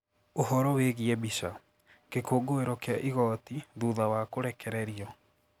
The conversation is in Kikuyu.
Ũhoro wĩgiĩ mbica, Gĩkũngũĩro kĩa igooti thutha wa kũrekererio